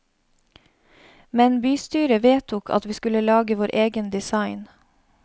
Men bystyret vedtok at vi skulle lage vår egen design.